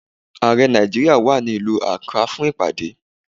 Ààrẹ Nàìjíríà wà ní ìlú Akrá fún ìpàdé.